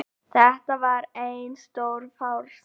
Þetta var einn stór farsi